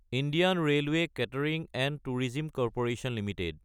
Indian railway catering & tourism corporation Ltd